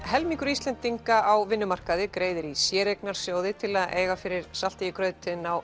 helmingur Íslendinga á vinnumarkaði greiðir í séreignarsjóði til að eiga fyrir salti í grautinn á